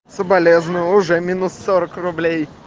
соболезную уже минус сорок рублей